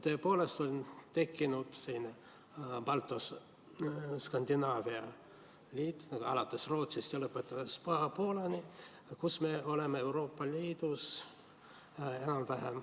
Tõepoolest on nüüd tekkinud Balti-Skandinaavia liit, alates Rootsist ja lõpetades paha Poolaga.